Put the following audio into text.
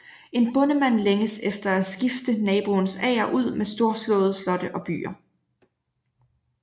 En bondemand længes efter at skifte naboens ager ud med storslåede slotte og byer